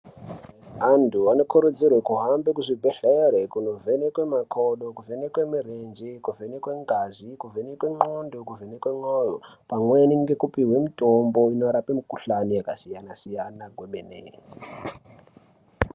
Antu anokurudzirwe kuhambe kuchibhedhlere kunovhenekwe makodo, kuvhenekwe murenje, kuvhenekwe ngazi, kuvhenekwe ndxondo, kuvhenekwe moyo, pamweni ngekupuhwe mitombo inorape mikhuhlani yakasiyana-siyana kwemene.